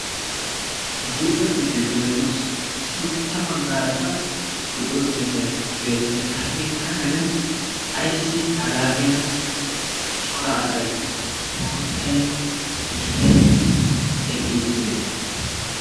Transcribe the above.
guuta keettahy beettoossi sintta baggaarakka qorqqoro keetai beettees. ha keettaa karen aissi hagaa keena cora asai guuttai gitai eqqi uttide?